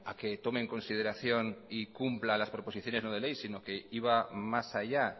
que tome en consideración y cumpla las proposiciones no de ley sino que iba más allá